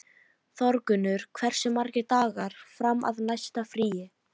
Þórgunnur, hversu margir dagar fram að næsta fríi?